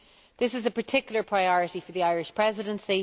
This is a particular priority for the Irish Presidency.